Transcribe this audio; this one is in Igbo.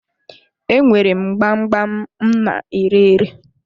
Enwere m gbam gbam m na-ere ere.